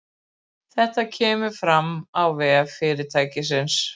Þetta kemur fram á vef fyrirtækisins